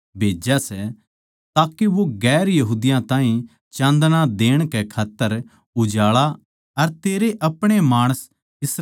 के वो दुसरी जात्तां ताहीं चाँदणा देण कै खात्तर उजाळा अर तेरे अपणे माणस इस्राएल की महिमा हो